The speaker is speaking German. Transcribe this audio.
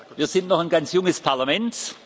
Wir sind noch ein ganz junges Parlament.